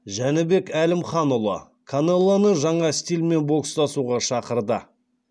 жәнібек әлімханұлы канелоны жаңа стильмен бокстасуға шақырды